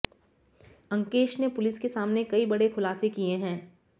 अंकेश ने पुलिस के सामने कई बड़े खुलासे किए हैं